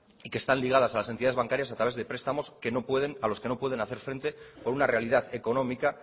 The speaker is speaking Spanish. y que están ligadas a las entidades bancarias a través de prestamos a los que no pueden hacer frente por una realidad económica